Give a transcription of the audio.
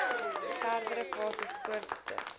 verdere fases voortgesit